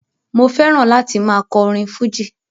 Mo fẹ́ràn láti máa kọ orin fújì